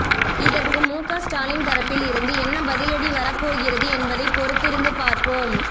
இதற்கு முக ஸ்டாலின் தரப்பில் இருந்து என்ன பதிலடி வரப்போகிறது என்பதை பொறுத்திருந்து பார்ப்போம்